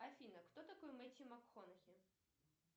афина кто такой мэттью макконахи